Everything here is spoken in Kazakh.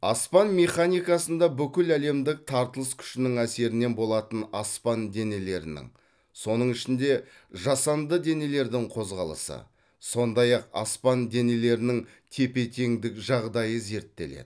аспан механикасында бүкіләлемдік тартылыс күшінің әсерінен болатын аспан денелерінің соның ішінде жасанды денелердің қозғалысы сондай ақ аспан денелерінің тепе теңдік жағдайы зерттеледі